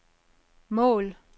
mål